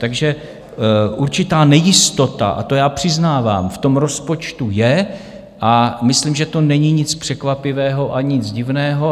Takže určitá nejistota, a to já přiznávám, v tom rozpočtu je, a myslím, že to není nic překvapivého a nic divného.